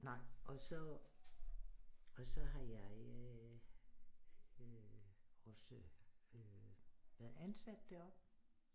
Nej og så og så jeg øh også øh været ansat deroppe